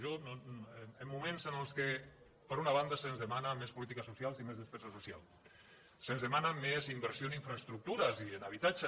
jo en moments en què per una banda se’ns demanen més polítiques socials i més despesa social se’ns demana més inversió en infraestructures i en habitatge